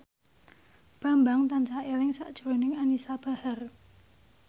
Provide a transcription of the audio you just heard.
Bambang tansah eling sakjroning Anisa Bahar